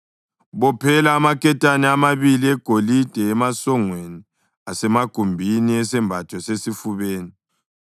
Bophela amaketane amabili egolide emasongweni asemagumbini esembatho sesifubeni,